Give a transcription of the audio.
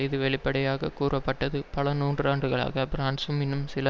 இது வெளிப்படையாக கூறப்பட்டது பல நூற்றாண்டுகளாக பிரான்சும் இன்னும் சில